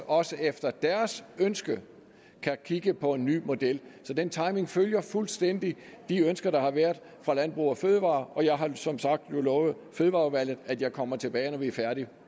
også efter deres ønske kan kigge på en ny model den timing følger fuldstændig de ønsker der har været fra landbrug fødevarer og jeg har som sagt nu lovet fødevareudvalget at jeg kommer tilbage når vi er færdige